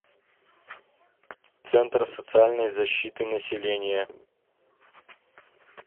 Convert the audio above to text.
центр социальной защиты населения